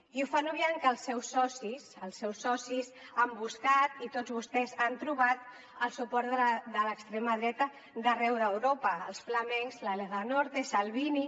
i ho fan obviant que els seus socis els seus socis han buscat i tots vostès han trobat el suport de l’extrema dreta d’arreu d’europa els flamencs la lega nord salvini